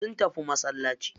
Sun tafi masallaci.